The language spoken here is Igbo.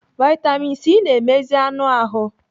Vitamin C na-emezi anụ ahụ.